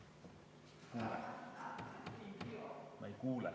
Ma ei kuule.